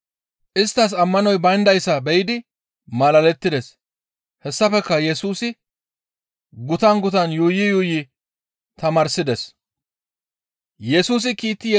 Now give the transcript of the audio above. Isttas ammanoy bayndayssa be7idi malalettides. Hessafekka Yesusi gutan gutan yuuyi yuuyi tamaarsides.